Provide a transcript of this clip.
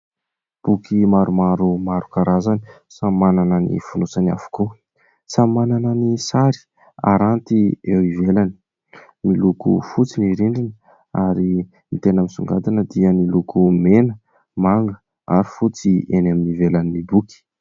Boky maromaro maro karazany, samy manana ny fonosany avokoa. Samy manana ny sary aranty eo ivelany, miloko fotsy ny rindriny ary ny tena misongadina dia ny loko mena, manga ary fotsy eny amin'ny ivelan'ny boky.